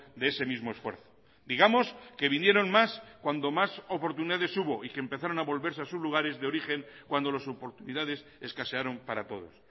de ese mismo esfuerzo digamos que vinieron más cuando más oportunidades hubo y que empezaron a volverse a sus lugares de origen cuando las oportunidades escasearon para todos